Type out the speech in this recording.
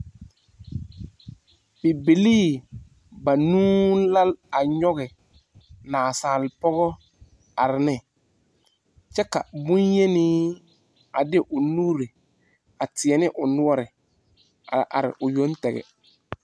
Bibilii banuu la a nyoge nasaal poge a are ne. Kyɛ ka bonyeni a de o nuure a teɛ ne o nuore a are o yoŋ tɛge